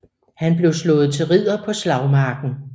Han blev slået til ridder på slagmarken